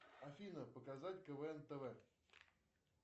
афина показать квн тв